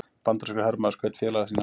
Bandarískur hermaður skaut félaga sína